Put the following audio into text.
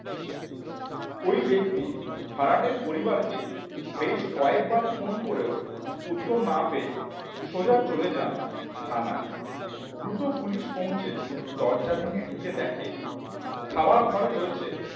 ওই ব্যক্তি ভাড়াটের পরিবারকে বেশ কয়েকবার ফোন করেও উত্তর না পেয়ে সোজা চলে যান থানায় দ্রুত পুলিশ পৌঁছে দরজা ভেঙে ঢুকে দেখে খাবার ঘরে রয়েছে